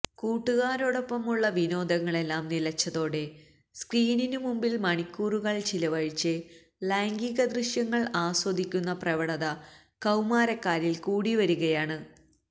കൂട്ടുകാരോടൊപ്പമുള്ള വിനോദങ്ങളെല്ലാം നിലച്ചതോടെ സ്ക്രീനിനു മുമ്പില് മണിക്കൂറുകള് ചിലവഴിച്ച് ലൈംഗിക ദൃശ്യങ്ങള് ആസ്വദിക്കുന്ന പ്രവണത കൌമാരക്കാരില് കൂടിവരികയാണ്